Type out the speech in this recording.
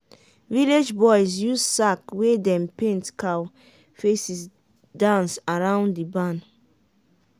village boys use sack wey dem paint cow faces dance around the barn.